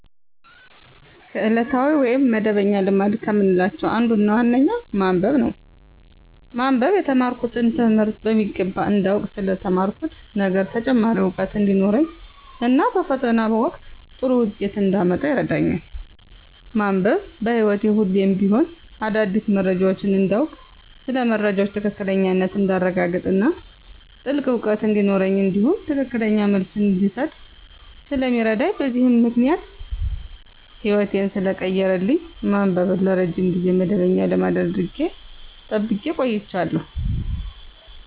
ከዕለታዊ ወይም መደበኛ ልማድ ከምላቸው አንዱና ዋነኛው ማንበብ ነው። ማንበብ የተማርኩትን ትምህርት በሚገባ እንዳውቅ ስለ ተማርኩት ነገር ተጨማሪ እውቀት እንዲኖረኝ እና በፈተና ወቅት ጥሩ ውጤት እንዳመጣ ይረዳኛል። ማንበብ በህይወቴ ሁሌም ቢሆን አዳዲስ መረጃዎችን እንዳውቅ ስለ መረጃዎች ትክክለኛነት እንዳረጋግጥ እና ጥልቅ እውቀት እንዲኖረኝ እንዲሁም ትክክለኛ መልስ እንድሰጥ ስለሚረዳኝ በዚህም ምክንያት ህይወቴን ሰለቀየረልኝ ማንበብን ለረጅም ጊዜ መደበኛ ልማድ አድርጌ ጠብቄ አቆይቸዋለሁ።